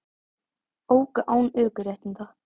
Óku án ökuréttinda